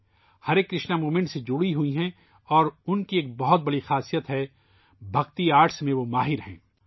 ہرے کرشنا موومنٹ سے جڑی ہوئی ہیں اور ان الگ الگ موومنٹس سے جڑی ہوئی ہیں اور ان کی بہت بڑی خصوصیت ہے ، ان کی بڑی خوبی یہ ہے کہ وہ عقیدت کے فن میں ماہر ہیں